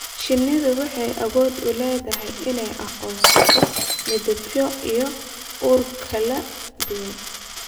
Shinnidu waxay awood u leedahay inay aqoonsato midabyo iyo ur kala duwan.